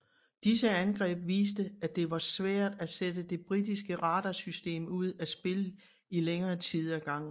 Disse angreb viste at det var svært at sætte det britiske radarsystem ud af spillet i længere tid ad gangen